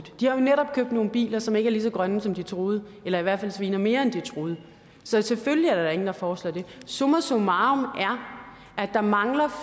de har netop købt nogle biler som ikke er lige så grønne som de troede eller i hvert fald sviner mere end de troede så selvfølgelig er der da ingen der foreslår det summa summarum er at der mangler